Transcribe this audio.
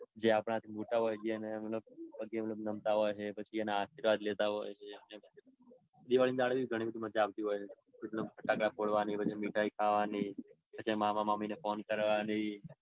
જ્યાં આપણાથી મોટા હોય ને મતલબ પગે નમતા હોય ને. પછી એના આશીર્વાદ લેતા હોય ને. દિવાળી ના ડાળે પણ ઘણી મજા આવતી હોય છે. ફટાકડા ફોડવાની ને મીઠાઈ ખાવાની ને પછી મામા મામી ને phone કરવાની ને.